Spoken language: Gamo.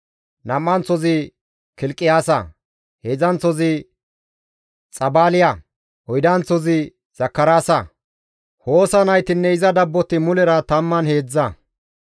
Nam7anththozi Kilqiyaasa, heedzdzanththozi Xabaaliya, oydanththozi Zakaraasa; Hoosa naytinne iza dabboti mulera tammanne heedzdza.